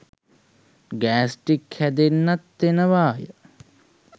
Gastric හැදෙන්නත් එනවාය.